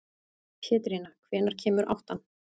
Pétrína, hvenær kemur áttan?